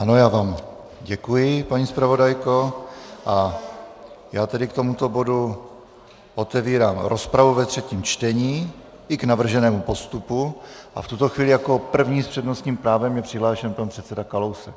Ano, já vám děkuji, paní zpravodajko, a já tedy k tomuto bodu otevírám rozpravu ve třetím čtení, i k navrženému postupu, a v tuto chvíli jako první s přednostním právem je přihlášen pan předseda Kalousek.